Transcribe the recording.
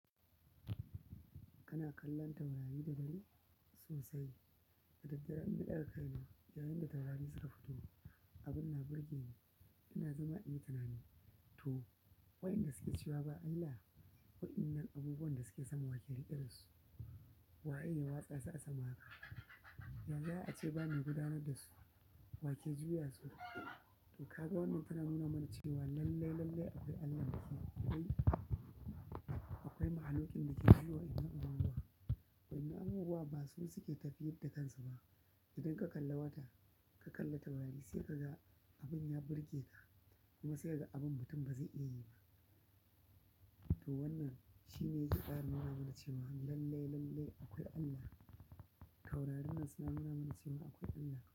Kana kallon taurari da dare sosai, da daddare in na daga kai mna, yayin da taurari suka fito, abin na burge ni, ina zama ina tunani to waɗanda suke cewa ba Allah wa in nan abubuwan da suke sama wa ke riƙe dasu? Wa ye ya watsa su a sama haka? Yanzu za a ce ba mai gudanar dasu, wa ke juya su? To kaga wannan ana nuna mana cewar lallai-lallai akwai Allah. Ƙwai mahaluƙin dake juya wannan abubuwa, wannan abubuwan basu suke tafiyar da kansu ba idan ka kalli wata ka kalli taurari sai kaga abun ya burgeka kuma sai kaga abun mutum bazai iyayi ba to wannan shine zai ƙara nuna ama cewa lallai-lallai akwai Allah. Taurarin nan suna nuna mana cewa akwai Allah.